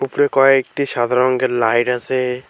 উপরে কয়েকটি সাদা রঙ্গের লাইট আছে।